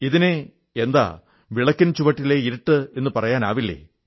ഇതിനെ എന്താ വിളക്കിൻ ചുവട്ടിലെ ഇരുട്ടെന്നു പറയാനാവില്ലേ